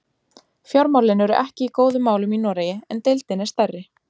Fjármálin eru ekki í góðum málum í Noregi en deildin er stærri.